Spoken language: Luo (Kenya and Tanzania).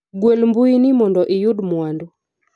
gwel mbui ni mondo iyud mwandu